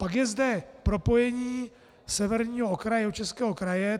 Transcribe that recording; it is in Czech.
Pak je zde propojení severního okraje Jihočeského kraje.